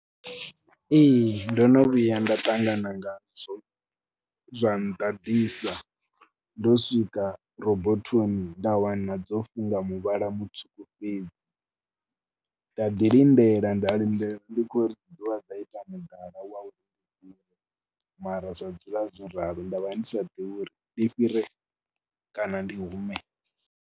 Ee ndo no vhuya nda ṱangana ngazwo zwa nḓaḓisa, ndo swika rabothoni nda wana dzo funga muvhala mutswuku fhedzi nda ḓi lindela, nda lindele ndi kho ri dzi ḓo vha dza ita mudala wa uri, mara dza dzula dzo ralo, nda vha ndi sa ḓivhi uri ndi fhire kana ndi hume.